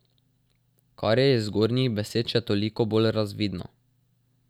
Kar je iz zgornjih besed še toliko bolj razvidno.